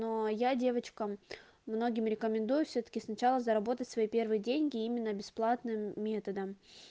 но я девочкам многим рекомендую всё-таки сначала заработать свои первые деньги именно бесплатным методом